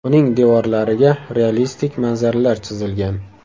Uning devorlariga realistik manzaralar chizilgan.